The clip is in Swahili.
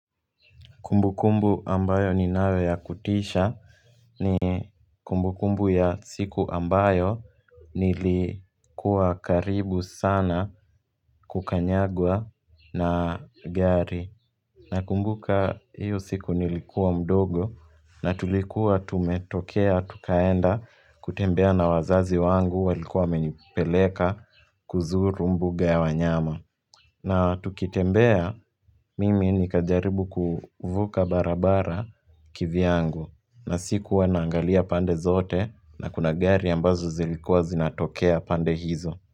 Kumbu kumbu ambayo ni nayo ya kutisha ni kumbu kumbu ya siku ambayo nilikuwa karibu sana kukanyagwa na gari. Na kumbuka hiyo siku nilikua mdogo na tulikuwa tumetokea tukaenda kutembea na wazazi wangu walikuwa wamenipeleka kuzuru mbuga ya wanyama. Na tukitembea mimi ni kajaribu kuvuka barabara kivyangu na sikua naangalia pande zote na kuna gari ambazo zilikuwa zinatokea pande hizo.